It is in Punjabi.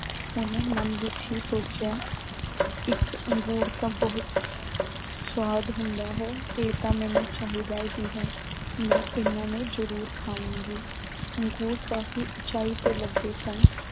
ਓਹਨੇ ਮਨ ਵਿੱਚ ਹੀ ਸੋਚਿਆ ਇੱਕ ਅੰਗੂਰ ਤਾਂ ਬਹੁਤ ਸੁਆਦ ਹੁੰਦਾ ਹੈ। ਇਹ ਤਾਂ ਮੈਨੂੰ ਚਾਹੀਦਾ ਹੀ ਹੈ। ਮੈਂ ਇਨ੍ਹਾਂ ਨੂੰ ਜ਼ਰੂਰ ਖਾਵਾਂਗੀ। ਅੰਗੂਰ ਕਾਫ਼ੀ ਉਚਾਈ ਤੇ ਲੱਗੇ ਸਨ।